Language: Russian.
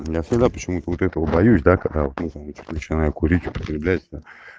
я всегда почему-то вот этого боюсь да когда вот начинаю курить употреблять на